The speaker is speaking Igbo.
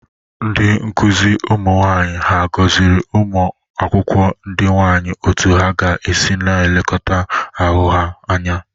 Ndị nkụzị ụmụ nwaanyị ha gọzịrị ụmụ akwụkwọ ndị nwaanyị otu ha ga-esi na-elekọta ahụ ha anya?